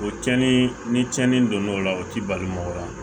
O cɛnin ni tiɲɛni don n'o la o ti balimamuw la